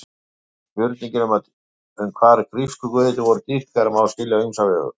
Spurninguna um hvar grísku guðirnir voru dýrkaðir má skilja á ýmsa vegu.